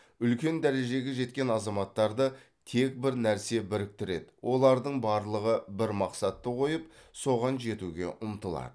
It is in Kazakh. үлкен дәрежеге жеткен азаматтарды тек бір нәрсе біріктіреді олардың барлығы бір мақсатты қойып соған жетуге ұмтылады